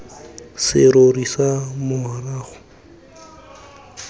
serori fa morago ga mola